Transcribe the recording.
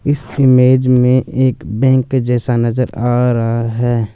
इस इमेज में एक बैंक जैसा नजर आ रहा है।